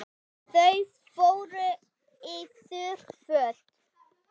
Þau fóru í þurr föt.